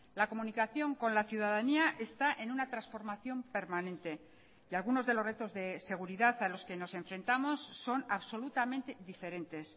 la comunicación con la ciudadanía está en una transformación permanente y algunos de los retos de seguridad a los que nos enfrentamos son absolutamente diferentes